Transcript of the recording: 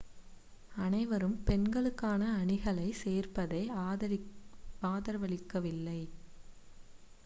அனைவரும் பெண்களுக்கான அணிகளைச் சேர்ப்பதை ஆதரவளிக்கவில்லை